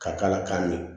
Ka k'a la ka ɲɛ